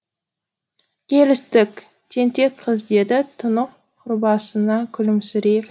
келістік тентек қыз деді тұнық күлімсірей